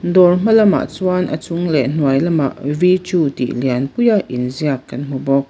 daw hma lamah chuan a chung leh hnuai lamah v two tih lian pui a inziak kan hmu bawk.